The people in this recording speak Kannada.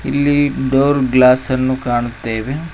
ಇಲ್ಲಿ ಡೋರ್ ಗ್ಲಾಸ್ ಅನ್ನು ಕಾಣುತ್ತೇವೆ.